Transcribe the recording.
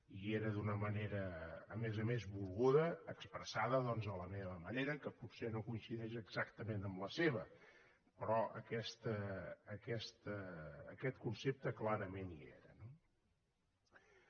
hi era d’una manera a més a més volguda expressada doncs a la meva manera que potser no coincideix exactament amb la seva però aquest concepte clarament hi era